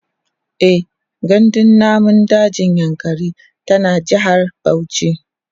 e gandun namun dajin yankari tana jehar Bauchi